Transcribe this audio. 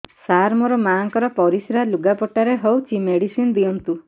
ସାର ମୋର ମାଆଙ୍କର ପରିସ୍ରା ଲୁଗାପଟା ରେ ହଉଚି ମେଡିସିନ ଦିଅନ୍ତୁ